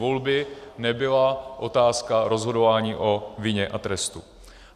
Volby nebyla otázka rozhodování o vině a trestu.